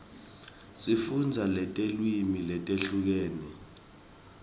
sifundza netilwimi letehlukene